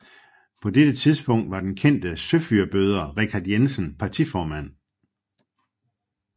På dette tidspunkt var den kendte søfyrbøder Richard Jensen partiformand